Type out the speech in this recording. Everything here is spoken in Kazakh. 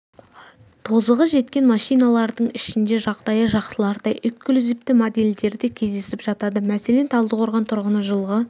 тозығы жеткен машиналардың ішінде жағдайы жақсылары да эксклюзивті модельдері де кездесіп жатады мәселен талдықорған тұрғыны жылғы